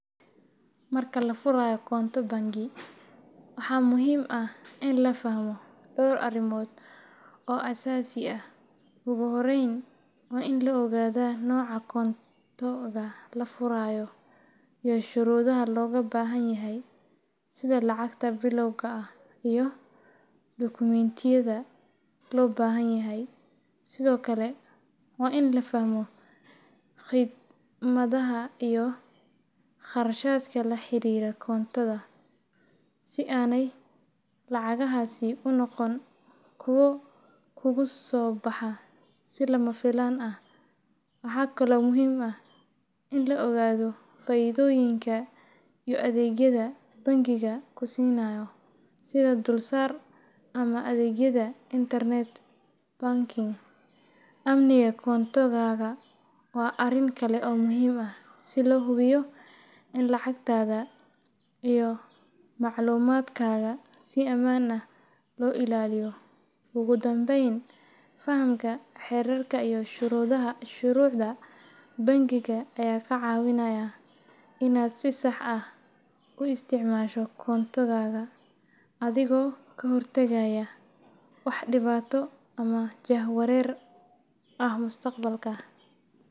Marka la furayo konto bangi, waxaa muhiim ah in la fahmo dhowr arrimood oo aasaasi ah. Ugu horreyn, waa in la ogaadaa nooca konto-ga la furayo iyo shuruudaha looga baahan yahay, sida lacagta bilowga ah iyo dukumentiyada loo baahan yahay. Sidoo kale, waa in la fahmo khidmadaha iyo kharashaadka la xiriira konto-ga, si aanay lacagahaasi u noqon kuwo kugu soo baxa si lama filaan ah. Waxaa kaloo muhiim ah in la ogaado faa’iidooyinka iyo adeegyada bangiga ku siinayo, sida dulsaar ama adeegyada internet banking. Amniga konto-gaaga waa arrin kale oo muhiim ah, si loo hubiyo in lacagtaada iyo macluumaadkaaga si ammaan ah loo ilaaliyo. Ugu dambeyn, fahamka xeerarka iyo shuruucda bangiga ayaa kaa caawinaya inaad si sax ah u isticmaasho konto-gaaga, adigoo ka hortagaya wax dhibaato ama jahwareer ah mustaqbalka.